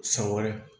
San wɛrɛ